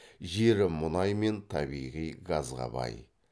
жері мұнай мен табиғи газға бай